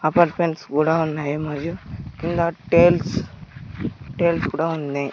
Apartments కూడా ఉన్నాయి మరియు కింద టైల్స్ టైల్స్ కూడా ఉన్నాయి.